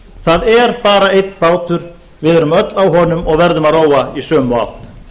það er bara einn bátur við erum öll á honum og verðum að róa í sömu átt